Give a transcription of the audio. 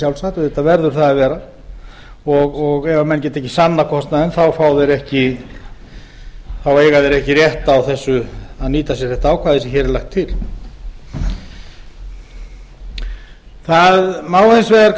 sjálfsagt auðvitað verður það að gera ef menn geta ekki sannað kostnaðinn eiga þeir ekki rétt á að nýta sér þetta ákvæði sem hér er lagt til það má hins vegar